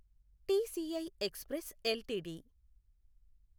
TCI express LTD